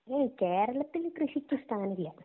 ഹിമമ് കേരളത്തില് കൃഷിക്ക് സ്ഥാനമില്ല